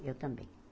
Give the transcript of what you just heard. Eu também.